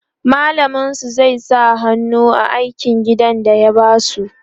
mallamin su zai sa hannu a aikin gida da ya basu